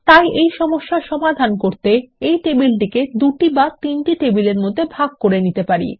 তাই এই সমস্যার সমাধান করতে এই টেবিলটিকে দুটি বা তিনটি টেবিলের মধ্যে ভাগ করে নিতে পারি